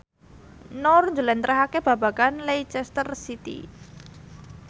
Nur njlentrehake babagan Leicester City